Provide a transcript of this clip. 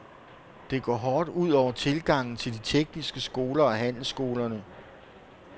Det går hårdt ud over tilgangen til de tekniske skoler og handelsskolerne.